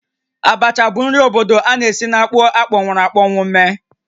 Abacha bụ nri obodo a na-esi na akpụ akpọnwụrụ̀ akpọnwụ mee